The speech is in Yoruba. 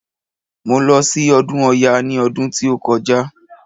Mo lọ sí ọdún ọya ní ọdún tí ó kọjá.